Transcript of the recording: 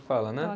Que fala, né?